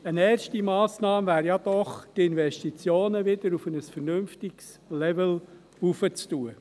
Eine erste Massnahme wäre doch, die Investitionen wieder auf ein vernünftiges Level anzuheben.